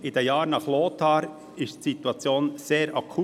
In den Jahren nach Lothar war die Situation sehr akut.